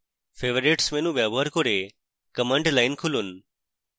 favorites menu ব্যবহার করে command line খুলুন